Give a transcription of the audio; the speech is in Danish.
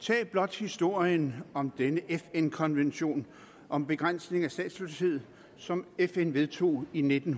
tag blot historien om denne fn konvention om begrænsning af statsløshed som fn vedtog i nitten